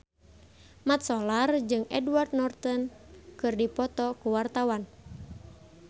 Mat Solar jeung Edward Norton keur dipoto ku wartawan